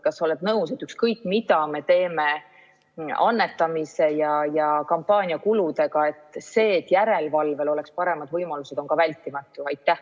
Kas sa oled nõus, et ükskõik mida me teeme annetamise ja kampaaniakuludega, aga see, et järelevalvel oleks paremad võimalused, on vältimatu?